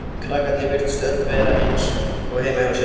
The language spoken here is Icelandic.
Krakkarnir virtust öll vera eins og heima hjá sér.